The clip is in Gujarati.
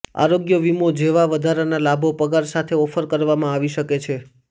આરોગ્ય વીમો જેવા વધારાના લાભો પગાર સાથે ઓફર કરવામાં આવી શકે છે